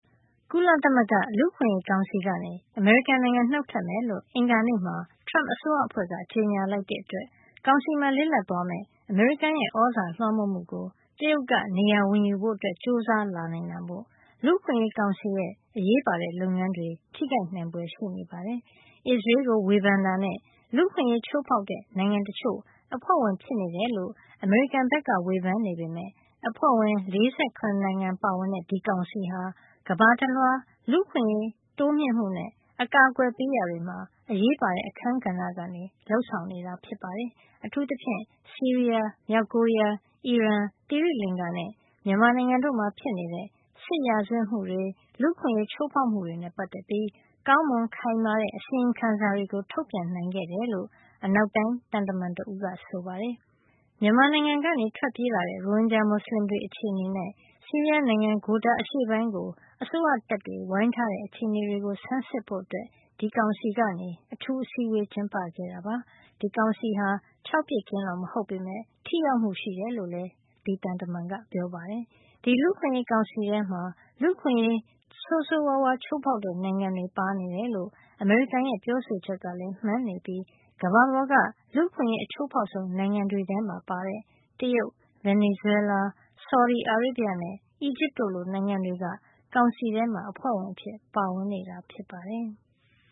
ကုလသမဂ္ဂ လူ့အခွင့်ရေး ကောင်စီကနေ အမေရိကန် နှုတ်ထွက်မယ်လို့ အင်္ဂါနေ့မှာ Trump အစိုးရအဖွဲ့က ကြေညာလိုက်တဲ့ အတွက် ကောင်စီမှာ လစ်လပ်သွားမယ့် အမေရိကန်ရဲ့ သြဇာလွှမ်းမိုးမှုကို တရုတ်က နေရာဝင်ယူဖို့ ကြိုးစားလာနိုင်တာမို့ လူ့အခွင့်ရေးကောင်စီရဲ့ အရေးပါတဲ့ လုပ်ငန်းတွေ ထိခိုက်နိုင်ဖွယ်ရှိနေပါတယ်။ အစ္စရေးကို ဝေဖန်တာနဲ့ လူ့အခွင့်ရေး ချိုးဖေါက်တဲ့ နိုင်ငံတချို့ အဖွဲ့ဝင် ဖြစ်နေတယ်လို့ အမေရိကန်က ဝေဖန်နေပေမယ့် အဖွဲ့ဝင် ၄၇ နိုင်ငံပါဝင်တဲ့ ဒီကောင်စီဟာ ကမ္ဘာတလွှား လူ့အခွင့်ရေး တိုးမြှင့်မှုနဲ့ အကာကွယ်ပေးရာမှာ အရေးပါတဲ့ အခန်းကဏ္ဍကနေ လုပ်ဆောင်နေတာ ဖြစ်ပါတယ်။ အထူးသဖြင့် ဆီးရီးယား၊ မြောက်ကိုရီးယား၊ အီရန်၊ သီရိလင်္ကာနဲ့ မြန်မာနိုင်ငံတို့မှာ ဖြစ်နေတဲ့ စစ်ရာဇဝတ်မှုတွေ၊ လူ့အခွင့်ရေး ချိုးဖေါက်မှုတွေနဲ့ ပတ်သက်ပြီး ကောင်းမွန် ခိုင်မာတဲ့ အစီရင်ခံစာတွေ ထုတ်ပြန်နိုင်ခဲ့တယ်လို့ အနောက်တိုင်း သံတမန်တဦးက ဆိုပါတယ်။ မြန်မာနိုင်ငံကနေ ထွက်ပြေးလာတဲ့ ရိုဟင်ဂျာ မူစလင်တွေ အခြေအနေနဲ့ ဆီးရီးယား နိုင်ငံ Ghouta အရှေ့ပိုင်းကို အစိုးရတပ်တွေ ဝိုင်းထားတဲ့ အခြေအနေတွေကို ဆန်းစစ်ဖို့ ဒီကောင်စီဟာ အထူးအစည်းအဝေး ကျင်းပခဲ့တာပါ။ ဒီကောင်စီဟာ ခြောက်ပစ်ကင်း တော့ မဟုတ်ပေမယ့် ထိရောက်မှု ရှိတယ်လို့လည်း အဲဒီသံတမန်ကဆိုပါတယ်။ ဒီလူ့အခွင့်ရေးကောင်စီထဲမှာ လူ့အခွင့်ရေး ဆိုးဆိုးဝါးဝါး ချိုးဖေါက်တဲ့ နိုင်ငံတွေ ပါနေတယ်လို့ု့ အမေရိကန်ရဲ့ ပြောဆိုချက်ကလည်း မှန်နေပြီး ကမ္ဘာပေါ်က လူ့အခွင့်ရေးအချိုးဖေါက်ဆုံး နိုင်ငံတွေထဲမှာပါတဲ့ တရုတ်၊ ဗင်နီဇွဲလား၊ ဆော်ဒီအာရေဗျနဲ့ အီဂျစ်တို့လိုနိုင်ငံတွေ ကောင်စီထဲမှာ အဖွဲ့ဝင်အဖြစ် ပါဝင်နေတာ ဖြစ်ပါတယ်။